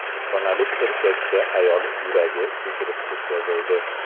Ostonalik erkakka ayol yuragi ko‘chirib o‘tkazildi.